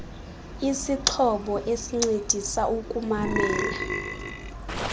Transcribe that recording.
isixhobo esincedisa ukumamela